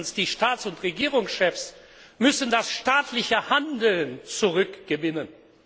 Erstens die Staats und Regierungschefs müssen das staatliche Handeln zurückgewinnen.